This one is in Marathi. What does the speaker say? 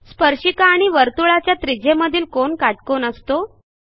स्पर्शिका आणि वर्तुळाच्या त्रिज्येमधील कोन काटकोन असतो